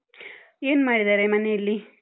ಏನ್ ಮಾಡಿದಾರೆ ಮನೆಯಲ್ಲಿ?